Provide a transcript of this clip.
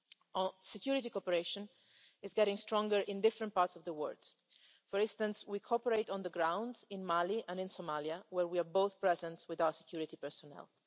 Our security cooperation is getting stronger in various parts of the world. For instance, we cooperate on the ground in Mali and in Somalia, where we are both present with our security personnel.